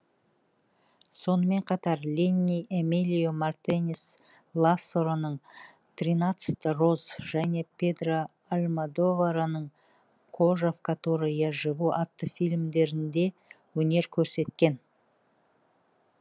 сонымен қатар ленни эмилио мартинес ласароның тринадцать роз және педро альмодовараның кожа в которой я живу атты фильмдерінде өнер көрсеткен